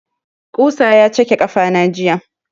Ƙusa ya cake ƙafana jiya.